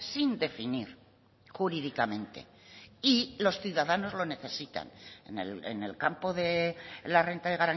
sin definir jurídicamente y los ciudadanos lo necesitan en el campo de la renta de